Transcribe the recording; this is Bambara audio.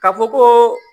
Ka fɔ koo